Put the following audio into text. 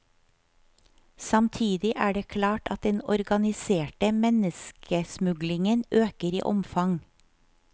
Samtidig er det klart at den organiserte menneskesmuglingen øker i omfang.